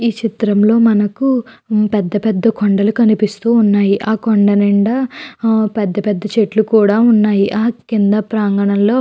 ఈ చిత్రం లో మనకు పెద్ద కొండలు కనిపిస్తూ ఉన్నాయి. ఆ కొండ నిండా పెద్ద పెద్ద చెట్లు కూడా ఉన్నాయి. ఆ కింద ప్రాంగణంలో--